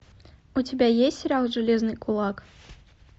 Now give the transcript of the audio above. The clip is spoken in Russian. у тебя есть сериал железный кулак